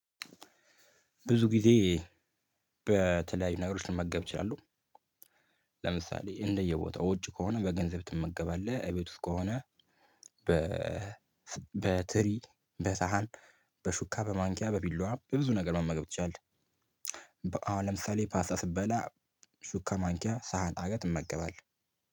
ብዙ ጊዜ በተለያዩ ነገሮች ልመገብ እችላለሁ። ለምሳሌ እንደየቦታው ውጭ ከሆነ በገንዘብ ትመገባለህ እቤት ውስጥ ከሆነ። በ በትሪ በሳህን በሹካ በማንኪያ በቢላዋ በብዙ ነገር መመገብ ትችያለህ። አሁን ለምሳሌ ፓስታ ስበላ ሹካ ማንኪያ ሳህን አርገህ እመገባለሁ።